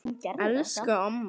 Elsku amma okkar.